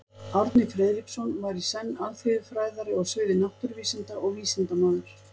Árni Friðriksson var í senn alþýðufræðari á sviði náttúruvísinda og vísindamaður.